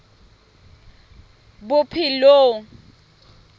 bophelong